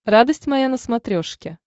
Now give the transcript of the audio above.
радость моя на смотрешке